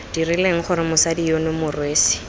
dirileng gore mosadi yono morwesi